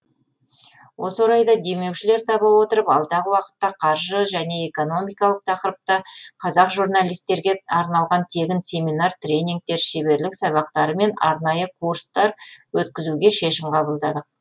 осы орайда демеушілер таба отырып алдағы уақытта қаржы және экономикалық тақырыпта қазақ журналистерге арналған тегін семинар тренингтер шеберлік сабақтары мен арнайы курстар өткізуге шешім қабылдадық